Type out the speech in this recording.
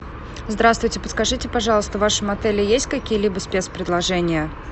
здравствуйте подскажите пожалуйста в вашем отеле есть какие либо спецпредложения